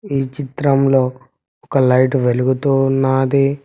ఈ చిత్రంలో ఒక లైట్ వెలుగుతూ ఉన్నాది.